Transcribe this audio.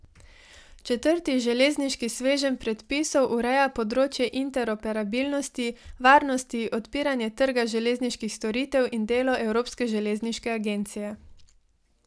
Četrti železniški sveženj predpisov ureja področje interoperabilnosti, varnosti, odpiranje trga železniških storitev in delo Evropske železniške agencije.